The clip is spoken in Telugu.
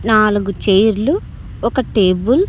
నాలుగు చైర్లు ఒక టేబుల్ --